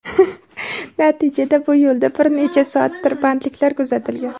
Natijada bu yo‘lda bir necha soat tirbandliklar kuzatilgan.